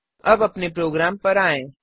अब अपने प्रोग्राम पर आएँ